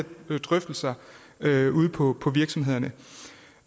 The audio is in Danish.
her drøftelser ude på på virksomhederne